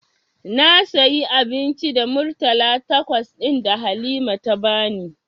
Na sayi abinci da murtala takwas ɗin da Halima ta bani.